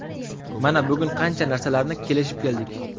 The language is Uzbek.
Mana bugun qancha narsalarni kelishib keldik.